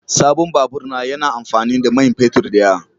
Sabon babur na yana amfani da man fetur da yawa